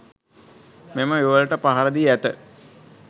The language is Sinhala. මෙම යුවළට පහරදී ඇත